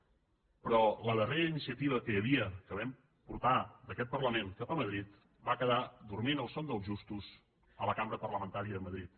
però la darrera iniciativa que hi havia que vam portar d’aquest parlament cap a madrid va quedar dormint el son dels justos a la cambra parlamentària de madrid